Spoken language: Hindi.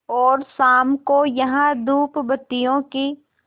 और शाम को यहाँ धूपबत्तियों की